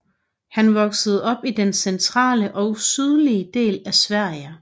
Han voksede op i den centrale og sydlige del af Sverige